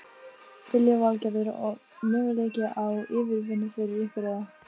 Lillý Valgerður: Og möguleiki á yfirvinnu fyrir ykkur eða?